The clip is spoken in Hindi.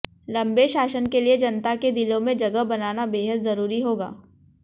लम्बे शासन के लिए जनता के दिलों में जगह बनाना बेहद जरूरी होगा